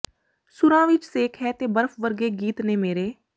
ਸੁਰਾਂ ਵਿੱਚ ਸੇਕ ਹੈ ਤੇ ਬਰਫ਼ ਵਰਗੇ ਗੀਤ ਨੇ ਮੇਰੇ